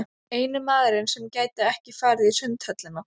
Eini maðurinn sem gæti ekki farið í Sundhöllina.